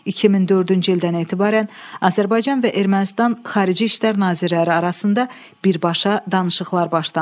2004-cü ildən etibarən Azərbaycan və Ermənistan Xarici İşlər nazirləri arasında birbaşa danışıqlar başlandı.